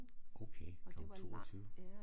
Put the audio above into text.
Okay klokken 22